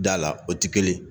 Da la, o tɛ kelen ye